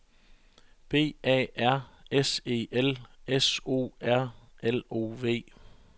B A R S E L S O R L O V